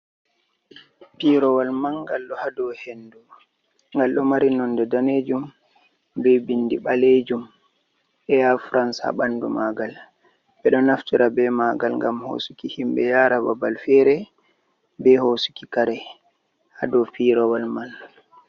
Piirawol man'ngal ɗo ha dau hendu, ngal ɗo mari nonde danejum, be bindi ɓalejum eya frans ha bandu ma'ngal. Ɓe ɗo naftira be ma'ngal ngam hosuki himɓe yara babal fere, be hosuki kare ha dau pirawol man.